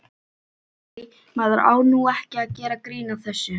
Æ, maður á nú ekki að gera grín að þessu.